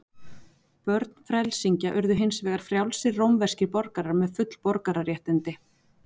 Börn frelsingja urðu hins vegar frjálsir rómverskir borgarar með full borgararéttindi.